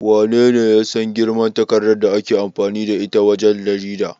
Wanene ya san girman takardar da ake amfani da ita wajen jarida?